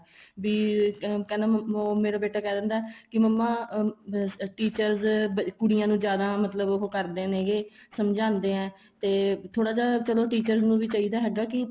ਵੀ ਕਹਿੰਦਾ ਉਹ ਮੇਰਾ ਬੇਟਾ ਕਹਿ ਦਿੰਦਾ ਏ ਕੀ ਮੰਮਾ ਅਹ teachers ਕੁੜੀਆਂ ਨੂੰ ਜਿਆਦਾ ਮਤਲਬ ਉਹ ਕਰਦੇ ਨੈਗੇ ਸਮਝਾਦੀਆਂ ਤੇ ਥੋੜਾ ਜਾ ਚਲੋ teachers ਨੂੰ ਵੀ ਚਾਹੀਦਾ ਹੈਗਾ ਕੀ